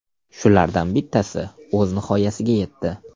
Shulardan bittasi o‘z nihoyasiga yetdi.